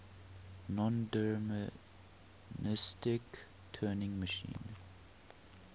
nondeterministic turing machine